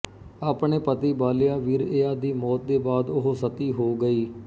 ਆਪਣੇ ਪਤੀ ਬਾਲਿਆ ਵੀਰਇਯਾ ਦੀ ਮੋਤ ਦੇ ਬਾਅਦ ਉਹ ਸਤੀ ਹੋ ਗਈ